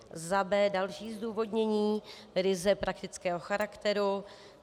b) Další zdůvodnění ryze praktického charakteru.